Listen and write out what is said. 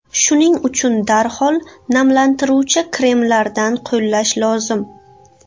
Shuning uchun darhol namlantiruvchi kremlardan qo‘llash lozim.